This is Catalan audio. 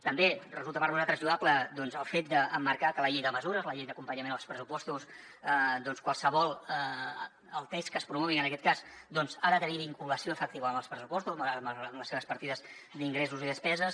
també resulta per nosaltres lloable doncs el fet d’emmarcar que la llei de mesures la llei d’acompanyament als pressupostos el text que es promogui en aquest cas ha de tenir vinculació efectiva amb els pressupostos amb les seves partides d’ingressos i despeses